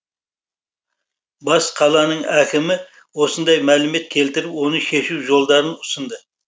бас қаланың әкімі осындай мәлімет келтіріп оны шешу жолдарын ұсынды